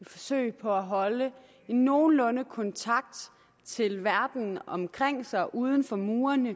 forsøg på at holde en nogenlunde kontakt til verden omkring sig uden for murene